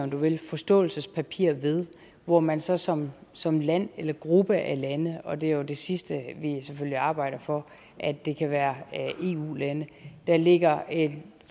om du vil forståelsespapir ved hvor man så som som land eller gruppe af lande og det er jo det sidste vi selvfølgelig arbejder for at det kan være eu lande der lægger